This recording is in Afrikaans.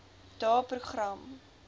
daeprogram